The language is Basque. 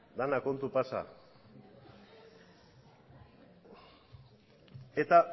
dena kontu pasa eta